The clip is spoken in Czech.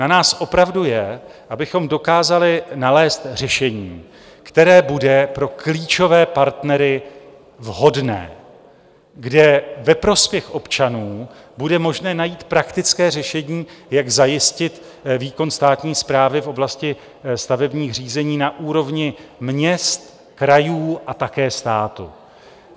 Na nás opravdu je, abychom dokázali nalézt řešení, které bude pro klíčové partnery vhodné, kde ve prospěch občanů bude možné najít praktické řešení, jak zajistit výkon státní správy v oblasti stavebních řízení na úrovni měst, krajů a také státu.